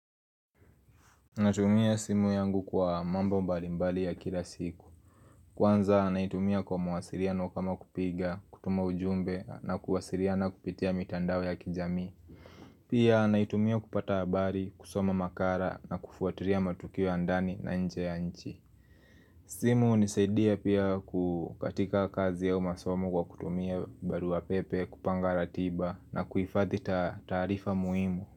Natumia simu yangu kwa mambo mbalimbali ya kila siku Kwanza naitumia kwa mawasiriano kama kupiga, kutuma ujumbe na kuwasiriana kupitia mitandao ya kijamii Pia naitumia kupata abari, kusoma makara na kufuatiria matukio ya ndani na nje ya nchi. Simu hunisaidia pia ku, katika kazi ya masomo kwa kutumia barua pepe, kupanga ratiba na kuifadhi taarifa muimu.